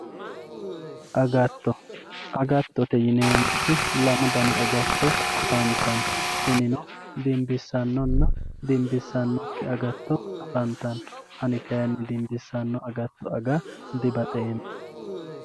Agatto, agattotte yineemoti lamu dani agatto afantanno tinino dimbisanonna dimbisanokki agatto afantanno ani kayi dimbisano agatto agga dibaxxeemo